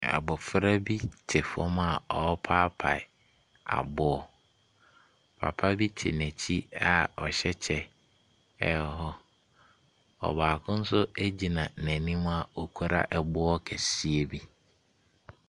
Abɔfra bi te fam a ɔpaepae aboɔ. Papa bi te nɛkyi a ɔhyɛ kyɛ. Ɔbaako nso gyina nenim ɔkura ɛboɔ kɛseɛ bi.